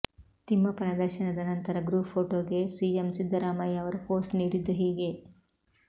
ತಿಮ್ಮಪ್ಪನ ದರ್ಶನದ ನಂತರ ಗ್ರೂಪ್ ಫೋಟೋಗೆ ಸಿಎಂ ಸಿದ್ದರಾಮಯ್ಯ ಅವರು ಪೋಸ್ ನೀಡಿದ್ದು ಹೀಗೆ